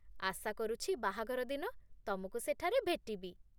ଆଶା କରୁଛି ବାହାଘର ଦିନ ତମକୁ ସେଠାରେ ଭେଟିବି!